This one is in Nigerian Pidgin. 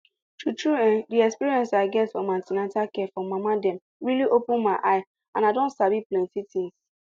true true[um]the experience i get from an ten atal care for mama dem really open my eye and i don sabi plenty things